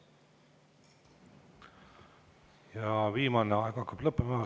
Ja viimane, aeg hakkab lõppema.